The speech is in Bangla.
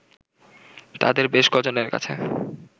তাদের বেশ ক'জনের কাছে